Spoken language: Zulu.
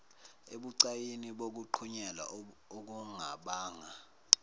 ebucayini bokuqhunyelwa okungabanga